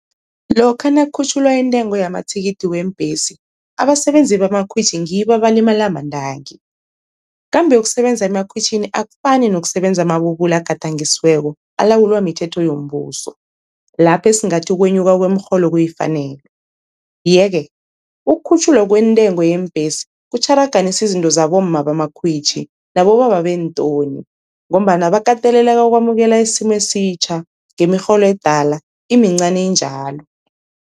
Lokha nakukhutjhulwa intengo yamathikithi weembhesi abasebenzi bamakhwitjhi ngibo abalimala mantangi, kambe ukusebenza emakhwitjhini akufani nokusebenza amabubulo agadangisiweko alawulwa mithetho yombuso, lapho esingathi ukwenyuka kwemirholo kuyifanelo. Ye-ke ukukhutjhulwa kwentengo yeembhesi kutjharaganisa izinto zabomma bamakhwitjhi nabobaba beentoni, ngombana bakateleleka ukwamukela isimo esitjha ngemirholo edala, imincani njalo.